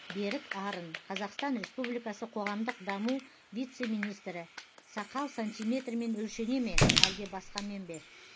берік арын қазақстан республикасы қоғамдық даму вице министрі сақал сантимермен өлшене ме әлде басқамен бе